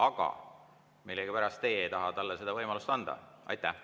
Aga millegipärast teie ei taha talle seda võimalust anda.